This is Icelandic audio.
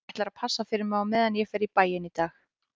Hann ætlar að passa fyrir mig á meðan ég fer í bæinn í dag